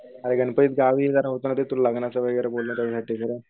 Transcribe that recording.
अरे गनपतीत गावी जरा लग्नाचं वगैरे बोललेलो तुला.